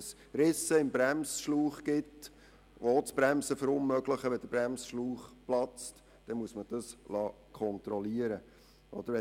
Gibt es Risse im Bremsschlauch, die ebenfalls das Bremsen verunmöglichen, sollte der Bremsschlauch platzen, dann muss man das kontrollieren lassen.